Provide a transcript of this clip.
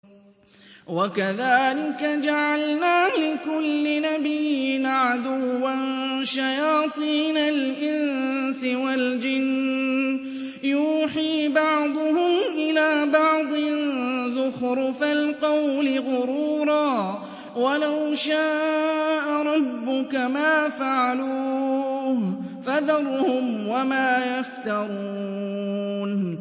وَكَذَٰلِكَ جَعَلْنَا لِكُلِّ نَبِيٍّ عَدُوًّا شَيَاطِينَ الْإِنسِ وَالْجِنِّ يُوحِي بَعْضُهُمْ إِلَىٰ بَعْضٍ زُخْرُفَ الْقَوْلِ غُرُورًا ۚ وَلَوْ شَاءَ رَبُّكَ مَا فَعَلُوهُ ۖ فَذَرْهُمْ وَمَا يَفْتَرُونَ